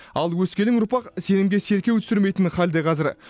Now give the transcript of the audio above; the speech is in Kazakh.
ал өскелең ұрпақ сенімге селкеу түсірмейтін халде қазір